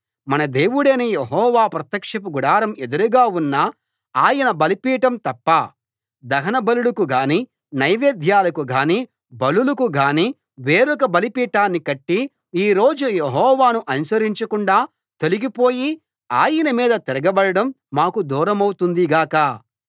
మన దేవుడైన యెహోవా ప్రత్యక్షపు గుడారం ఎదురుగా ఉన్న ఆయన బలిపీఠం తప్ప దహనబలులకు గానీ నైవేద్యాలకు గానీ బలులకు గానీ వేరొక బలిపీఠాన్ని కట్టి ఈ రోజు యెహోవాను అనుసరించకుండా తొలగిపోయి ఆయన మీద తిరగబడడం మాకు దూరమవుతుంది గాక